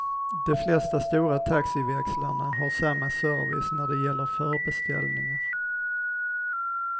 De flesta stora taxiväxlarna har samma service när det gäller förbeställningar.